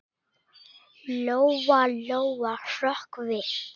Lóa-Lóa hrökk við.